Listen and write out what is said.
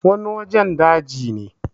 wani wajen daji ne